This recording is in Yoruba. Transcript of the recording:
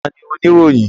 Ta ní Oníròyìn?